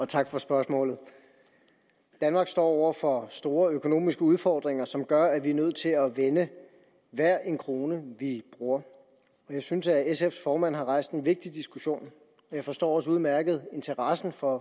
tak for spørgsmålet danmark står over for store økonomiske udfordringer som gør at vi er nødt til at vende hver en krone vi bruger jeg synes at sfs formand har rejst en vigtig diskussion og jeg forstår også udmærket interessen for